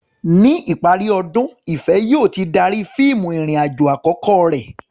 Ní ìparí ọdún, Ìfẹ̀ yóò ti darí fíìmù ìrìn-àjò àkọ́kọ́ rẹ̀.